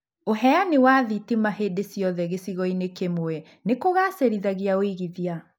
ũheanĩ wa thitima hĩndĩ ciothe gĩcigo-inĩ kimwe nĩ kũgacĩrithĩa ũigĩthia